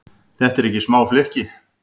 Þetta eru ekki smá flykki?